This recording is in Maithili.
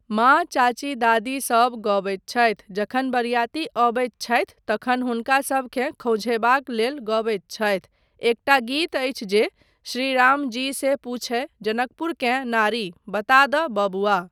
माँ चाची दादी सब गबैत छथि जखन बरियाती अबैत छथि तखन हुनका सभकेँ खौंझयबाक लेल गबैत छथि, एकटा गीत अछि जे 'श्री राम जी से पुछय जनकपुरकेँ नारी बता दऽ बबुआ'।